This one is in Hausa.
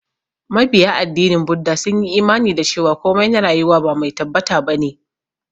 Mabiya addinin Buda sun yi imani da cewa komai na rayuwa ba mai tabbata ba ne.